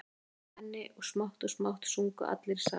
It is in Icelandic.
Ég söng með henni og smátt og smátt sungu allir í salnum.